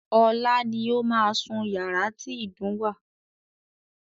Ọlá ni ó máa sún yàrá tí ìdun wà.